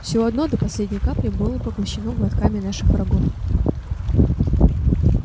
все одно до последней капли было поглощено глотками наших врагов